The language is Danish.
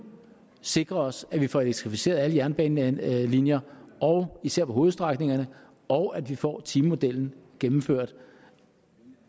sikre os at vi får elektrificeret alle jernbanelinjer især på hovedstrækningerne og at vi får timemodellen gennemført